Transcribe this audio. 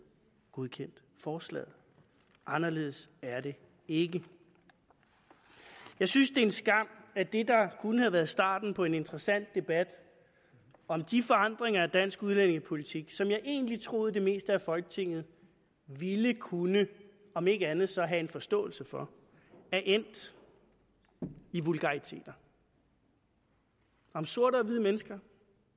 godkendt forslaget anderledes er det ikke jeg synes det er en skam at det der kunne have været starten på en interessant debat om de forandringer at dansk udlændingepolitik som jeg egentlig troede det meste af folketinget ville kunne om ikke andet så have en forståelse for er endt i vulgariteter om sorte og hvide mennesker